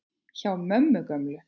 Hjá mömmu gömlu?!